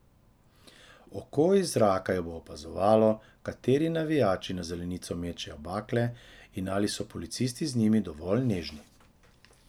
Oko iz zraka bo opazovalo, kateri navijači na zelenico mečejo bakle in ali so policisti z njimi dovolj nežni.